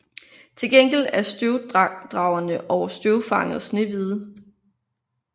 Til gengæld er støvdragerne og støvfanget snehvide